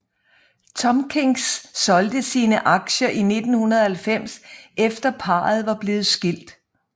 Tompkins solgte sine aktier i 1990 efter parret var blevet skilt